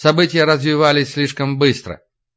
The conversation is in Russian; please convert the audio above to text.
события развивались слишком быстро